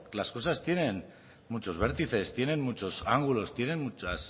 las cosas tienen muchos vértices tienen muchos ángulos tienen muchas